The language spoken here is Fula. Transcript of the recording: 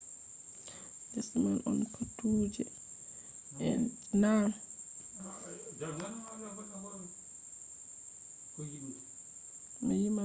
les man on paatuje en je ɗon daidai je wawata nyama boje en ko kuje manga yotti mbaala ladde